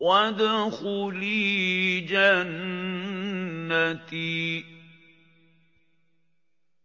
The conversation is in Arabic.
وَادْخُلِي جَنَّتِي